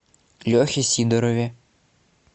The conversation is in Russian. лехе сидорове